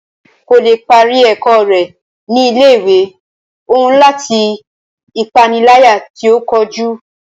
Kò lè parí ẹ̀kọ́ rẹ̀ ní ilé ìwé òún látàri ipániláyà tí o kojú.